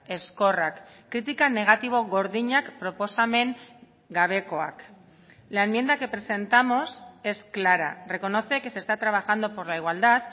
ezkorrak kritika negatibo gordinak proposamen gabekoak la enmienda que presentamos es clara reconoce que se está trabajando por la igualdad